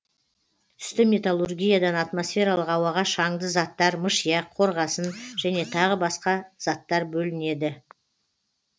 түсті металлургиядан атмосфералық ауаға шаңды заттар мышьяк қорғасын және тағы басқа заттар бөлінеді